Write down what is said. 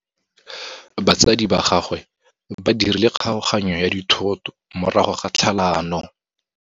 Batsadi ba gagwe ba dirile kgaoganyô ya dithoto morago ga tlhalanô.